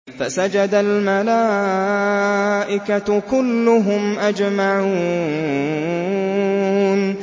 فَسَجَدَ الْمَلَائِكَةُ كُلُّهُمْ أَجْمَعُونَ